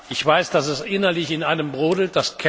Ich weiß, dass es innerlich in einem brodelt